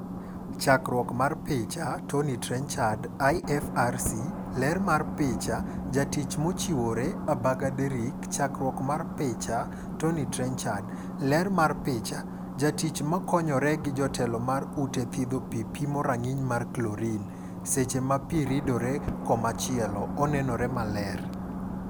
Chakruok mar picha, Tommy Trenchard / IFRC. Ler mar picha, Jatich mochiwore, Agaba Derrick. Chakruok mar picha, Tommy Trenchard /. Ler mar picha. Jatich makonyore gi jatelo mar ute mag thidho pii pimo rang'iny mar Chlorine .Seche ma pii ridore komachielo, onenore maler.